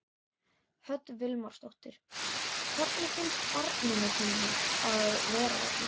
Hödd Vilhjálmsdóttir: Hvernig finnst barninu þínu að vera þarna?